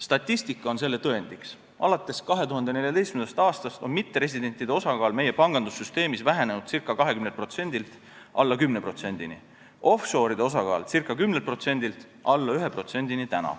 Statistika on selle tõendiks: alates 2014. aastast on mitteresidentide osakaal meie pangandussüsteemis vähenenud ca 20%-st alla 10%-ni, offshore'ide osakaal ca 10%-st alla 1%-ni.